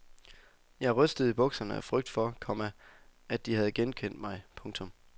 Jeg rystede i bukserne af frygt for, komma at de havde genkendt mig. punktum